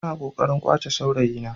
Tana kokarin kwace saurayina.